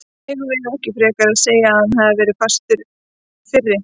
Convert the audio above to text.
Eigum við ekki frekar að segja að hann hafi verið fastur fyrir?